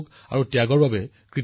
আৰু মই কেৱল সংখ্যাৰ বিষয়ে কথা নকও